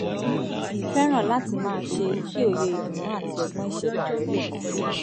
fẹ́ràn láti máa ṣe kí òye ìdùnnú àti ọgbọ́n ìṣẹ̀dá rẹ̀ le mókun